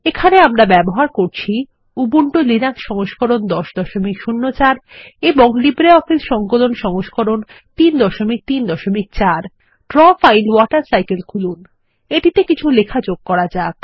এখানে আমরা ব্যবহার করছি উবুন্টু লিনাক্স সংস্করণ 1004 এবং লিব্রিঅফিস সংকলন সংস্করণ এর 334 ড্র ফাইল ওয়াটার সাইকেল খুলুন এবং এটিতে কিছু লেখা যোগ করুন